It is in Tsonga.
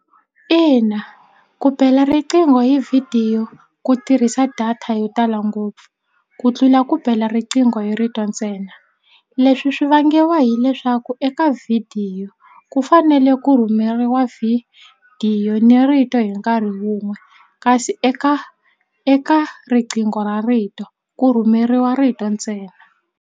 Ina ku bela riqingho hi vhidiyo ku tirhisa data yo tala ngopfu ku tlula ku bela riqingho hi rito ntsena leswi swi vangiwa hileswaku eka vhidiyo ku fanele ku rhumeriwa vhidiyo ni rito hi nkarhi wun'we kasi eka eka riqingho ra rito ku rhumeriwa rito ntsena.